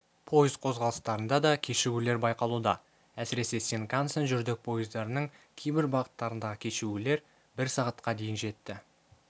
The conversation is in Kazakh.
пойыз қозғалыстарында да кешігулер байқалуда әсіресе синкансен жүрдек пойыздарының кейбір бағыттарындағы кешігулер бір сағатқа дейін жетті